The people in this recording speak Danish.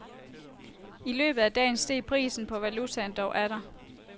I løbet af dagen steg prisen på valutaen dog atter.